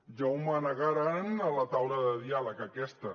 ja ho manegaran a la taula de diàleg aquesta